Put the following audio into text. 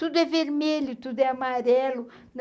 Tudo é vermelho, tudo é amarelo.